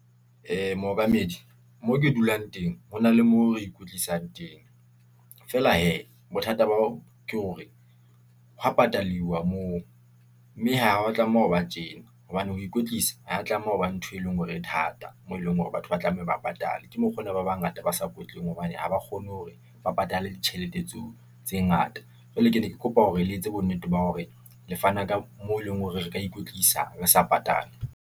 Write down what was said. Mookamedi, moo ke dulang teng, ho na le mo re ikwetlisang teng, feela hee bothata ba o ke hore, ho wa pataliwa moo. Mme ha wa tlameha ho ba tjena, hobane ho ikwetlisa ha ya tlameha ho ba ntho e leng hore e thata moo e leng hore batho ba tlameha ba patale. Ke mokgo na ba bangata ba sa kwetlileng hobane ha ba kgone hore ba patale ditjhelete tseo tse ngata. Jwale ke ne ke kopa hore le etse bonnete ba hore le fana ka moo e leng hore re ka ikwetlisa re sa patale.